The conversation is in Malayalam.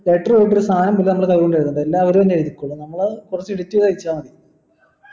letter പോയിട്ട് ഒരു സാധനം പോലും നമ്മൾ കൈ കൊണ്ട് എഴുതണ്ട എല്ലാം അവര് തന്നെ എഴുതിക്കോളും നമ്മൾ കുറച്ച് edit ചെയ്ത് വെച്ചാ മതി